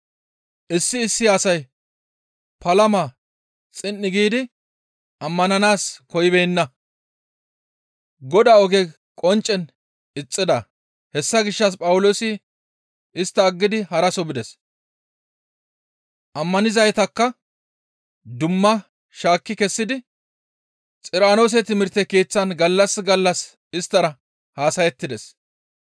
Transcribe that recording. Issi issi asay palama xin7i giidi ammananaas koyibeenna; Godaa oge qonccen ixxida; hessa gishshas Phawuloosi istta aggidi haraso bides; ammanizaytakka dumma shaakki kessidi Xiranoose timirte keeththan gallas gallas isttara haasayettides.